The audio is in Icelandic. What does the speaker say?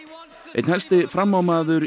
einn helsti framámaður